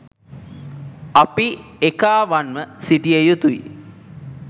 අපි එකාවන්ව සිටිය යුතුයි.